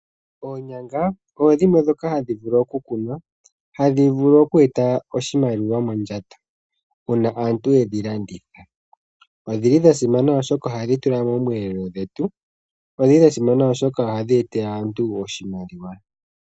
Oonyanga odho dhimwe ndhoka hadhi vulu oku kunwa hadhi vulu oku eta oshimaliwa mondjato uuna aantu yedhi landitha. Odhili dha simana oshoka ohadhi tulwa moomwelelo dhetu. Odhili dha simana oshoka ohadhi etele aantu oshimaliwa.